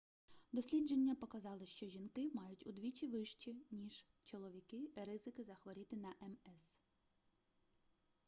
дослідження показали що жінки мають удвічі вищі ніж чоловіки ризики захворіти на мс